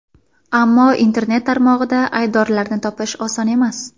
Ammo internet tarmog‘ida aybdorlarni topish oson emas.